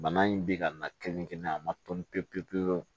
Bana in bi ka na kelen-kelen a ma tɔn pewu pewu